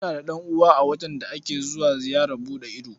Muna da ɗan'uwa a wajen da ake zuwa ziyarar buɗe ido.